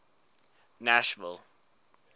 nashville